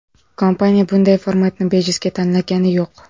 Kompaniya bunday formatni bejizga tanlagani yo‘q.